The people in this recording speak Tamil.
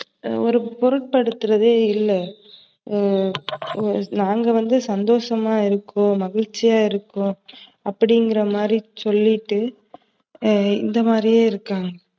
ஒரு பொருட்படுத்துறதே இல்ல. நாங்க வந்து சந்தோசமா இருக்கோம், மகிழ்ச்சியா இருக்கோம் அப்டிங்கிறமாதிரி சொல்லிட்டு இந்தமாதிரியே இருக்காங்க.